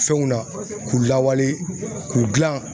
Fɛnw na k'u lawale k'u gilan.